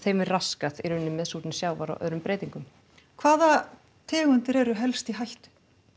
raskað í rauninni með súrnun sjávar og öðrum breytingum hvaða tegundir eru helst í hættu